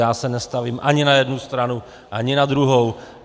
Já se nestavím ani na jednu stranu, ani na druhou.